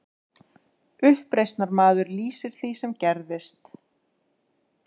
Uppreisnarmaður lýsir því sem gerðist